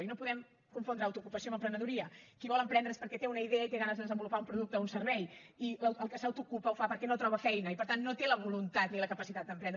i no podem confondre autoocupació amb emprenedoria qui vol emprendre és perquè té una idea i té ganes de desenvolupar un producte o un servei i el que s’autoocupa ho fa perquè no troba feina i per tant no té la voluntat ni la capacitat d’emprendre